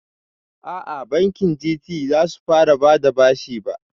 Aa, bankin Gt zasu fara bada bashi ba